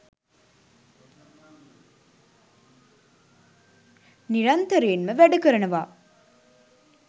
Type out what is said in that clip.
නිරන්තරයෙන්ම වැඩකරනවා